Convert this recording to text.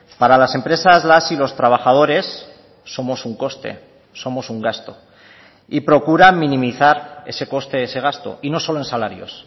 para las empresas las y los trabajadores somos un coste somos un gasto y procuran minimizar ese coste ese gasto y no solo en salarios